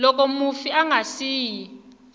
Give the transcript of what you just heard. loko mufi a nga siyi